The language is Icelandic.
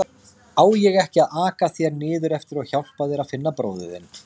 Á ég ekki að aka þér niðreftir og hjálpa þér að finna bróður þinn?